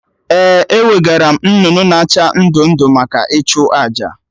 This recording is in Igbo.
Ee, ewegaram nnụnụ na acha ndụ ndụ maka ịchụ àjà